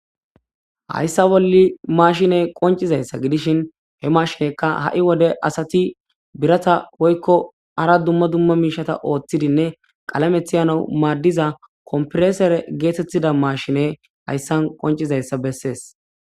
Hayssa bolli mashine qoncizayssa gidishin he mashinekka ha'i wode asati birata woykko ara dumma dumma miishata ooththidinne qalamethiyano maaddiza kompresere geetettida mashine hayssan qoncizayssa bessees.